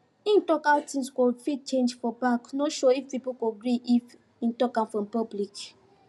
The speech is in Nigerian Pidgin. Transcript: him talk how things go fit change for back no sure if people go gree if him talk for public